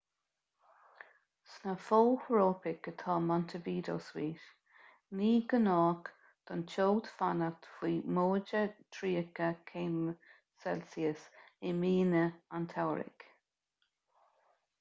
sna fothrópaic atá montevideo suite; ní gnách don teocht fanacht faoi +30°c i míonna an tsamhraidh